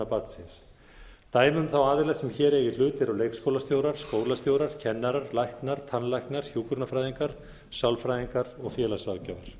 barnsins dæmi um þá aðila sem hér eiga í hlut eru leikskólastjórar skólastjórar kennarar læknar tannlæknar hjúkrunarfræðingar sálfræðingar og félagsráðgjafar